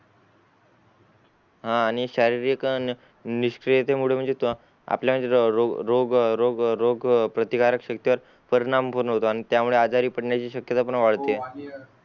हान आणि शारीरिक अं निष्क्रियते मुळे म्हणजे त्व आपल्याला म्हणजे रोग रोग रोगप्रतिकारक शक्तीवर परिणाम पण होतो त्या मुळे आजारी पडण्याची पडण्याची शक्यता पण वाढते